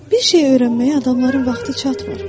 Bir şeyi öyrənməyə adamların vaxtı çatmır.